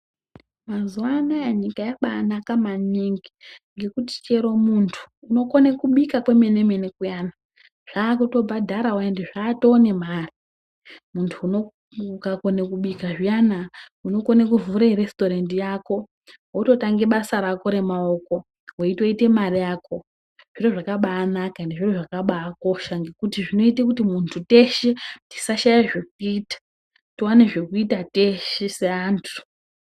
Mazuwa anaya nyika yabanaka maningi ngekuti chero muntu unokone kubika kwemene mene kuyana, zvakubhadharawo ende zvatoo nemare. Muntu unouyu, ukakone kubika zviyana unokone kuvhure resitorendi yako, wototange basa rako remaoko, weitoite mari yako. Zviro zvakabanaka ende zviro zvakabakosha ngekuti zvinoite kuti muntu teshe tisashaya zvekuita, tiwane zvekuita teshe, seantu.